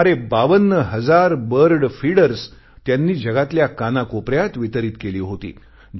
सुमारे 52 हजार bird feeders त्यांनी जगातल्या कानाकोपऱ्यात वितरित केली होती